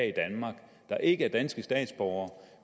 i danmark der ikke er danske statsborgere